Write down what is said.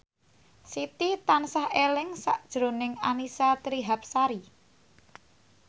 Siti tansah eling sakjroning Annisa Trihapsari